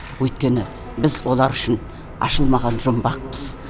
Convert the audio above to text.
өйткені біз олар үшін ашылмаған жұмбақпыз